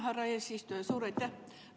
Härra eesistuja, suur aitäh!